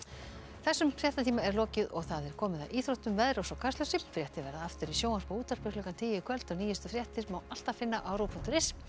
þessum fréttatíma er lokið og komið að íþróttum veðri og svo Kastljósi fréttir verða aftur í sjónvarpi og útvarpi klukkan tíu í kvöld og nýjustu fréttir má alltaf finna á ruv punktur is